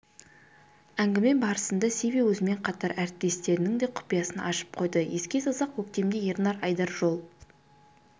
әңгіме барысында сиви өзімен қатар әріптестерінің де құпиясын ашып қойды еске салсақ көктемде ернар айдар жол